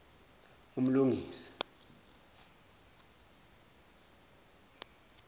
umlungisi